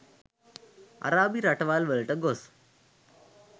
අරාබි රටවල් වලට ගොස්